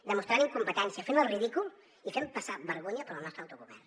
demostrant incompetència fent el ridícul i fent passar vergonya pel nostre autogovern